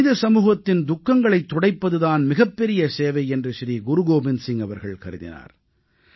மனித சமூகத்தின் துக்கங்களைத் துடைப்பது தான் மிகப்பெரிய சேவை என்று ஸ்ரீ குருகோபிந்த் சிங் அவர்கள் கருதினார்